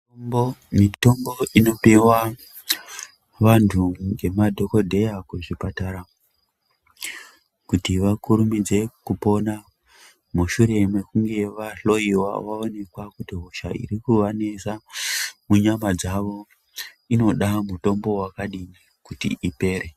Mitombo inopiwa vantu ngemadhokodheya kuzvipatara kuti vakurumidze kupona mushure mekunge vahloyiwa vaoneka kuti hosha irikuvanesa munyama dzavo inoda mutombo wakadinj kuti ipere.